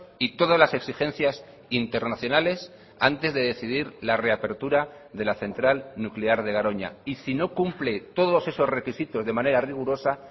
y todas las exigencias internacionales antes de decidir la reapertura de la central nuclear de garoña y si no cumple todos esos requisitos de manera rigurosa